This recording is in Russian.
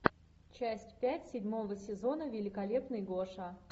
часть пять седьмого сезона великолепный гоша